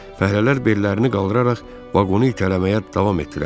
Fəhlələr bellərini qaldıraraq vaqonu itələməyə davam etdilər.